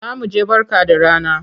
Za mu je Barka da rana.